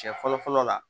Cɛ fɔlɔ fɔlɔ la